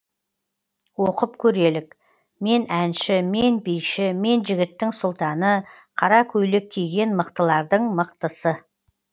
оқып көрелік мен әнші мен биші мен жігіттің сұлтаны қара көйлек киген мықтылардың мықтысы